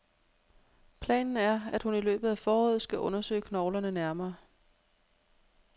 Planen er, at hun i løbet af foråret skal undersøge knoglerne nærmere.